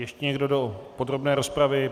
Ještě někdo do podrobné rozpravy?